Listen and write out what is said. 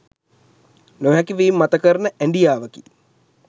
නොහැකි වීම මත කරන ඇඞියාවකි